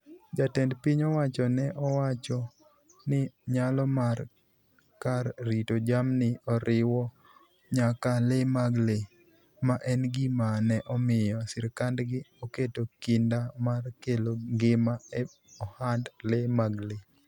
Jatend piny owacho ne owacho ni nyalo mar kar rito jamni oriwo nyaka le mag le, ma en gima ne omiyo sirkandgi oketo kinda mar kelo ngima e ohand le mag le.